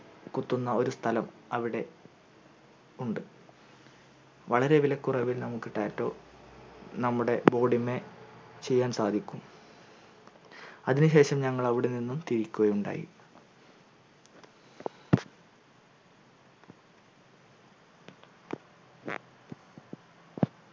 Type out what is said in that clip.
കുത്തുന്ന ഒരു സ്ഥലം അവിടെ ഉണ്ട് വളരെ വിലക്കുറവിൽ നമുക്ക് tattoo നമ്മുടെ body മ്മെ ചെയ്യാൻ സാധിക്കു അതിന് ശേഷം ഞങ്ങൾ അവിടെ നിന്നും തിരിക്കുകയുണ്ടായി